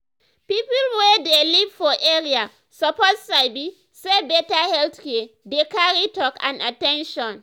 people wey dey live for area suppose sabi say better health care dey carry talk and at ten tion.